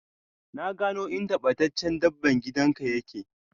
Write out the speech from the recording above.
Na gano inda battaccce dabban gida ka yake.